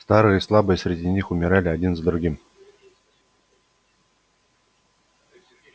старые и слабые среди них умирали один за другим